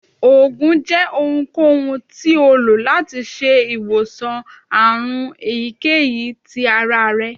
oògùn jẹ ohunkohun ti o lo lati ṣe iwosan àrùn eyikeyí tí àrá rẹ